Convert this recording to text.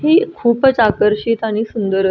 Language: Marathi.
ही खुपच आकर्षित आणि सुंदर अ--